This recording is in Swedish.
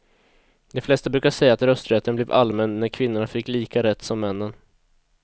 De flesta brukar säga att rösträtten blev allmän när kvinnorna fick lika rätt som männen.